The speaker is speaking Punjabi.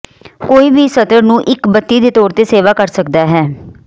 ਕੋਈ ਵੀ ਸਤਰ ਨੂੰ ਇੱਕ ਬੱਤੀ ਦੇ ਤੌਰ ਤੇ ਸੇਵਾ ਕਰ ਸਕਦਾ ਹੈ